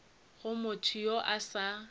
go motho yo a sa